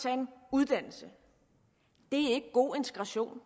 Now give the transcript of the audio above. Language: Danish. uddannelse er ikke god integration